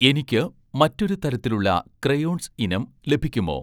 എനിക്ക് മറ്റൊരു തരത്തിലുള്ള ക്രയോൺസ് ഇനം ലഭിക്കുമോ ?